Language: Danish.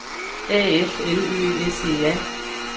A F L Ø S E R